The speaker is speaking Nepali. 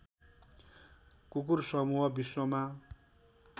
कुकुर समूह विश्वमा